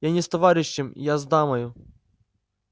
я не с товарищем я с дамою